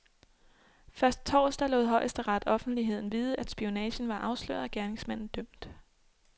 Først torsdag lod højesteret offentligheden vide, at spionagen var afsløret og gerningsmanden dømt.